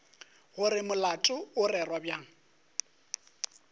gore molato o rerwa bjang